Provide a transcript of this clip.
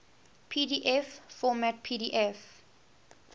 pdf format pdf